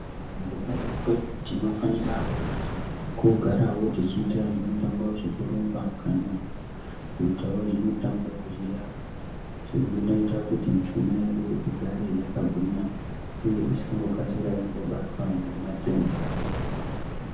Mukupona kwedu tinofanira kugarawo tichiita zvimutambo zvekurumba kana kuitawo zvimutambo zviya zvinoita kuti mishuna yedu igare yakagwinya uye isangokasira yangobatwa ngematenda.